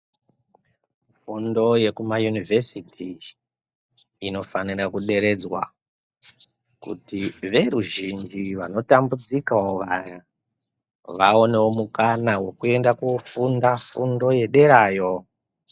Fundo yekumayunivhesiti inofanira kuderedzwa kuti veruzhinji vanotambudzikawo vaya vaonewo mukana wekuenda kofunda fundo yederayo.